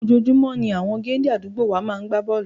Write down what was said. Ojoojúmọ́ ni àwọn géńdé àdúgbò wa máa ń gbá bọ́ọ̀lù